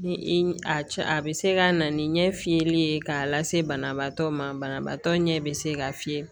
Ni i cɛ a bɛ se ka na ni ɲɛ fiyɛli ye k'a lase banabaatɔ ma banabaatɔ ɲɛ bɛ se k'a fiyɛ